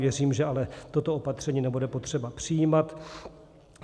Věřím, že ale toto opatření nebude potřeba přijímat.